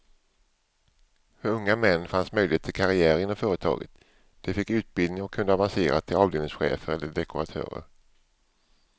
För unga män fanns möjlighet till karriär inom företaget, de fick utbildning och kunde avancera till avdelningschefer eller dekoratörer.